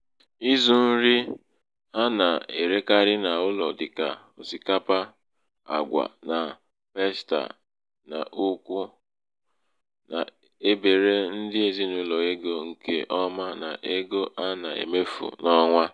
ịzụ̄ nri a nà-èrikarị n’ụlọ̀ dịkà òsìkapa àgwà na pasta n’ùkwù nà-ebère ndị ezinàụlọ̀ egō ṅ̀kè ọma n’ego a nà-èmefu n’ọnwa.